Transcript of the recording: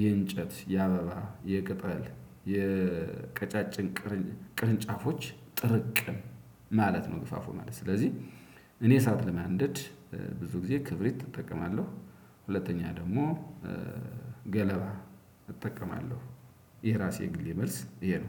የእንጨት የአበባ የቅጠል የቀጫጭን ቅርንጫፎች ጥርቅም ማለት ነው። ገፋፎ ማለት ስለዚህ እኔ እሳት ለማንደድ ብዙ ጊዜ ክብሪት እጠቀማለሁ። ሁለተኛ ደግሞ ገለባ እጠቀማለሁ። ይሄ ራሴ የግሌ መልስ ይሄ ነው